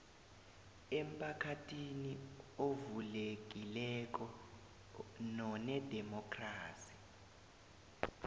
emphakathini ovulekileko nonedemokhrasi